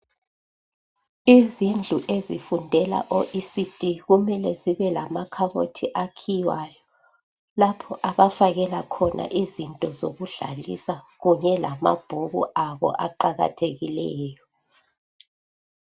Izindlu ezifundela o ECD kumele zibe lama khabothi akhiywayo lapho abafakela khona izinto zokudlalisa kunye lamabhuku abo aqakathekileyo.